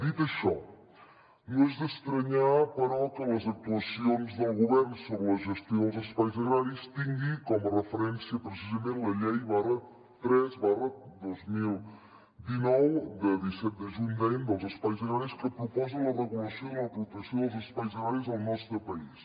dit això no és d’estranyar però que les actuacions del govern sobre la gestió dels espais agraris tingui com a referència precisament la llei tres dos mil dinou de disset de juny dèiem dels espais agraris que proposa la regulació de la protecció dels espais agraris al nostre país